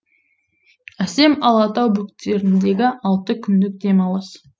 әсем алатау бөктеріндегі алты күндік демалыс